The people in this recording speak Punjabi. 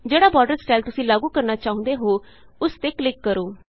ਜਿਹੜਾ ਬਾਰਡਰ ਸਟਾਈਲ ਤੁਸੀਂ ਲਾਗੂ ਕਰਨਾ ਚਾਹੁੰਦੇ ਹੋ ਉਸ ਤੇ ਕਲਿਕ ਕਰੋ